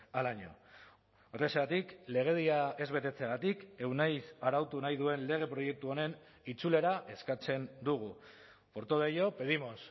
al año horrexegatik legedia ez betetzeagatik euneiz arautu nahi duen lege proiektu honen itzulera eskatzen dugu por todo ello pedimos